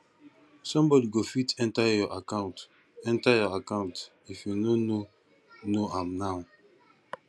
somebody go fit enter your account enter your account if you no know know am now